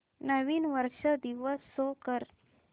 नवीन वर्ष दिवस शो कर